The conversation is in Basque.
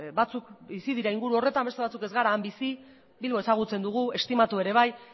batzuk bizi dira inguru horretan beste batzuk ez gara han bizi bilbo ezagutzen dugu estimatu ere bai